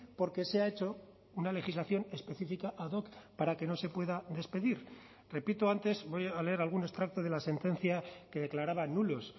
porque se ha hecho una legislación específica ad hoc para que no se pueda despedir repito antes voy a leer algún extracto de la sentencia que declaraba nulos